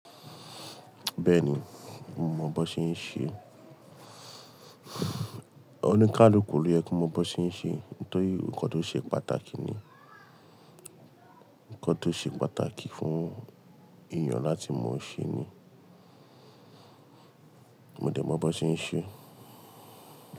Bẹ́ẹ̀ni, mo mọ bóli wọn ṣe ń ṣe. Òníkálùkù lóyè kí ó mọ bi wọn ṣe ń ṣe, nítorí nnkan tó ṣe pàtàkì ni. Nǹkan tó ṣe pàtàkì fún èèyàn láti mọ ṣe ni. Mo dẹ̀ mọ bi wọn ṣe ń ṣe.